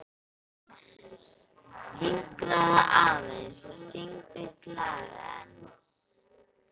Hinkraðu aðeins og syngdu eitt lag enn.